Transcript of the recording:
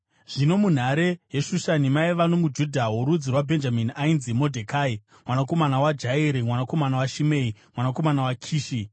Zvino munhare yeShushani maiva nomuJudha worudzi rwaBhenjamini, ainzi Modhekai mwanakomana waJairi, mwanakomana waShimei, mwanakomana waKishi,